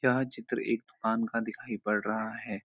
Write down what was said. यह चित्र एक दुकान का दिखाई पड़ रहा है।